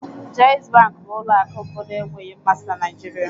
Jaiz Bank bụ ụlọ akụ mbụ na-enweghị mmasị na Nigeria